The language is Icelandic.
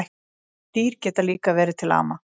Dýr geta líka verið til ama